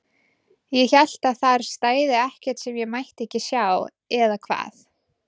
Ég hélt að þar stæði ekkert sem ég mætti ekki sjá, eða hvað?